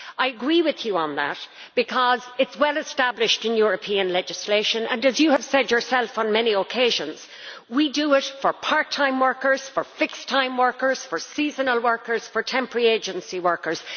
I agree with you on that because it is well established in European legislation and, as you have said yourself on many occasions, we do it for part time workers, for fixed time workers, for seasonal workers, for temporary agency workers.